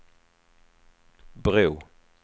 bro